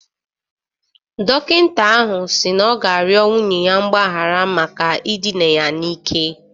Dọkịta ahụ si na ọ ga-arịọ nwunye ya mgbaghara maka idina ya n'ike